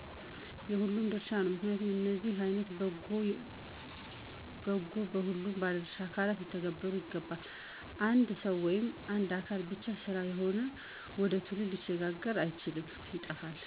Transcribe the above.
የሁሉም ድርሻ ነው። ምክንያቱም እነዚህ አይነት ወጎች በሁሉም ባለድሻ አካላት ሊተነበሩ ይገባል። የአንድ ሰዉ ወይም የአንድ አካል ብቻ ስራ ከሆነ ወደ ትውልድ ሊሸጋገር አይችልም ይጠፋሉ።